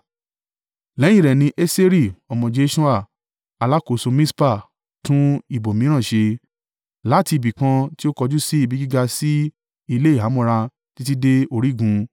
Lẹ́yìn rẹ̀ ni Eseri ọmọ Jeṣua, alákòóso Mispa, tún ìbò mìíràn ṣe, láti ibìkan tí ó kojú sí ibi gíga sí ilé-ìhámọ́ra títí dé orígun.